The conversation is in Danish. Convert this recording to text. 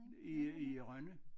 I øh i øh Rønne